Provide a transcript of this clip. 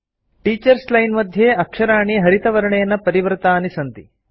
teachers line मध्ये अक्षराणि हरितवर्णेन परिवृतानि सन्ति